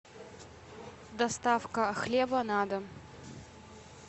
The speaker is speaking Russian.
доставка хлеба на дом